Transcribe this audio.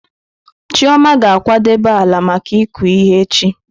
Chioma ga-akwadebe ala maka ịkụ ihe echi.